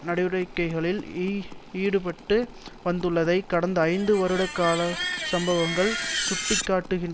நடவடிக்கைகளில் ஈடுபட்டு வந்துள்ளதை கடந்த ஐந்து வருட கால சம்பவங்கள் சுட்டிக்காட்டுகின்